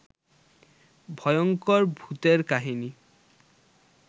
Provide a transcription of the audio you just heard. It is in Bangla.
ভয়ংকর ভুতের কাহিনী